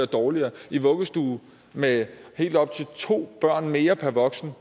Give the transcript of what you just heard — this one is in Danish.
dårligere i vuggestuer med helt op til to børn mere per voksen